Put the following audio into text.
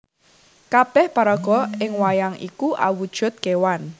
Kabéh paraga ing wayang iku awujud kewan